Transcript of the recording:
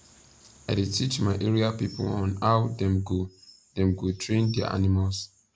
i da teach my area people on how them go them go train their animals